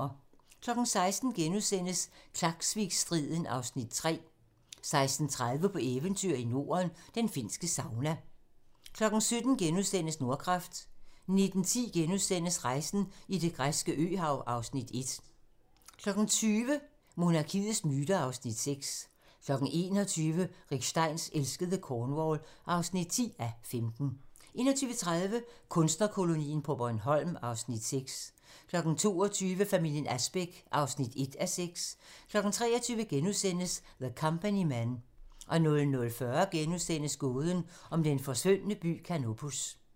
16:00: Klaksvikstriden (Afs. 3)* 16:30: På eventyr i Norden - den finske sauna 17:00: Nordkraft * 19:10: Rejsen i det græske øhav (Afs. 1)* 20:00: Monarkiets myter (Afs. 6) 21:00: Rick Steins elskede Cornwall (10:15) 21:30: Kunstnerkolonien på Bornholm (Afs. 6) 22:00: Familien Asbæk (1:6) 23:00: The Company Men * 00:40: Gåden om den forsvundne by Canopus *